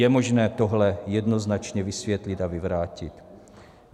Je možné tohle jednoznačně vysvětlit a vyvrátit.